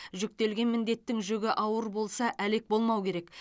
жүктелген міндеттің жүгі ауыр болса әлек болмау керек